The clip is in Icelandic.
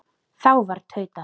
Þá var tautað